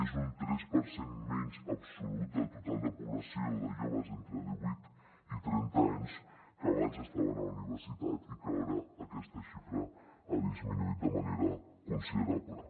és un tres per cent menys absolut del total de població de joves entre divuit i trenta anys que abans estaven a la universitat i ara aquesta xifra ha disminuït de manera considerable